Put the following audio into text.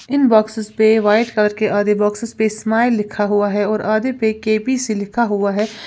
इन boxes पे white colour के आधे बाक्सेस पे स्माइल लिखा हुआ है और आधे पे के बी सी लिखा हुआ है।